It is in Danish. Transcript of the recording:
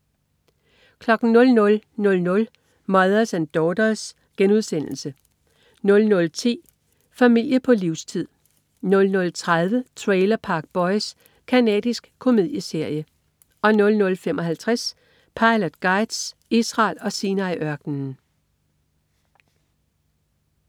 00.00 Mothers and Daughters* 00.10 Familie på livstid 00.30 Trailer Park Boys. Canadisk komedieserie 00.55 Pilot Guides: Israel og Sinai-ørkenen